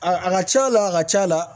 A a ka c'a la a ka c'a la